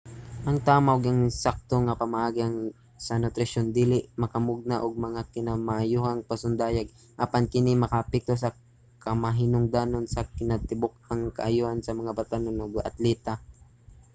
ang tama ug ensakto nga pamaagi sa nutrisyon dili makamugna og mga kinamaayohang pasundayag apan kini makaapekto sa kamahinungdanon sa kinatibuk-ang kaayohan sa mga batan-ong atleta